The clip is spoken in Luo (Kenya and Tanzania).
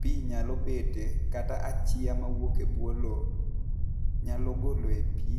pi nyalo bete kata achiya ma wuok e bwo loo nyalo golo pi